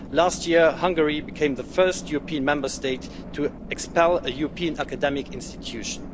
Last year, Hungary became the first European Member State to expel a European academic institution.